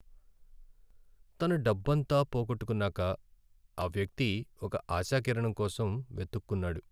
తన డబ్బంతా పోగొట్టుకున్నాక ఆ వ్యక్తి ఒక ఆశా కిరణంకోసం వెతుక్కున్నాడు.